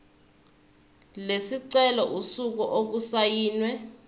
lesicelo usuku okusayinwe